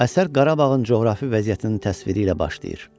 Əsər Qarabağın coğrafi vəziyyətinin təsviri ilə başlayır.